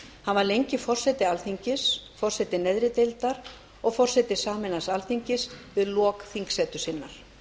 var lengi forseti alþingis forseti neðri deildar og forseti sameinaðs alþingis við lok þingsetu sinnar